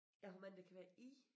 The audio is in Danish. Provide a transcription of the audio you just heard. Ja hvor mange der kan være i?